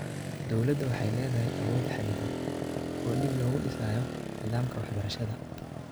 Dowladda waxay leedahay awood xadidan oo dib loogu dhisayo nidaamka waxbarashada.